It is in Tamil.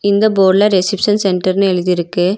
இந்த போர்டுல ரிசப்ஷன் சென்டர்ன்னு எழுதிருக்கு.